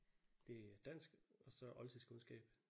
Det er dansk og så oldtidskundskab